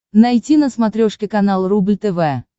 найти на смотрешке канал рубль тв